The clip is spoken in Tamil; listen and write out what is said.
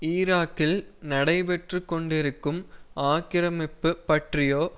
ஈராக்கில் நடைபெற்று கொண்டிருக்கும் ஆக்கிரமிப்பு பற்றியோ